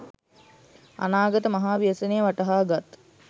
අනාගත මහා ව්‍යසනය වටහාගත්